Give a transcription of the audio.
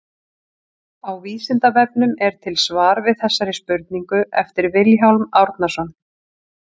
Á Vísindavefnum er til svar við þessari spurningu eftir Vilhjálm Árnason.